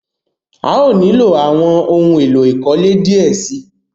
À yóò nílọ awọn ohun èlò ìkọ́lé díẹ̀ sí.